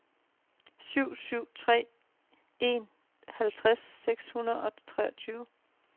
syv syv tre en halvtreds seks hundrede og treogtyve